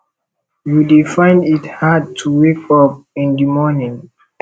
you dey find it hard to wake up in di morning